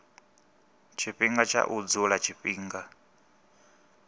tshifhinga tsha u dzula tshifhinga